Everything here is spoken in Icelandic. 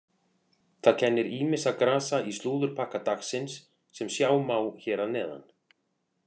Það kennir ýmissa grasa í slúðurpakka dagsins sem sjá má hér að neðan.